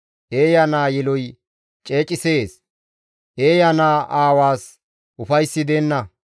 Eeya naa yeloy ceecisees; eeya naa aawaas ufayssi deenna.